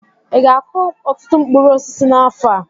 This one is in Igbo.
Ị ga-akụ ọtụtụ mkpụrụ osisi n'afọ a?